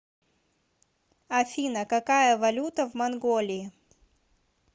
афина какая валюта в монголии